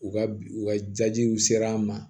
U ka u ka jajiw sera an ma